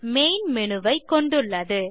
main menu ஐ கொண்டுள்ளது